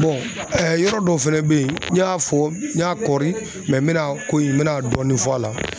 yɔrɔ dɔw fɛnɛ bɛ ye n y'a fɔ n y'a kɔri n mɛna ko in n mɛna dɔɔni fɔ a la.